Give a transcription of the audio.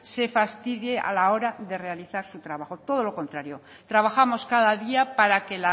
se fastidie a la hora de realizar su trabajo todo lo contrario trabajamos cada día para que